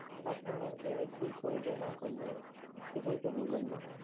customer care এ কি কইবে না কইবে কিছুই তো বুঝুম না।